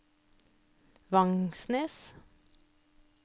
Vangsnes